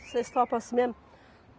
Vocês topam assim mesmo?